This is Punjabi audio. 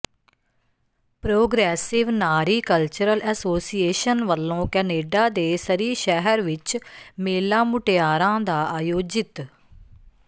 ਪ੍ਰੋਗਰੈਸਿਵ ਨਾਰੀ ਕਲਚਰਲ ਅਸੋਸੀਏਸ਼ਨ ਵੱਲੋਂ ਕਨੇਡਾ ਦੇ ਸਰੀ ਸ਼ਹਿਰ ਵਿੱਚ ਮੇਲਾ ਮੁਟਿਆਰਾਂ ਦਾ ਆਯੋਜਿਤ